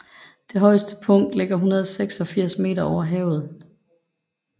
Det højeste punkt ligger 186 meter over havet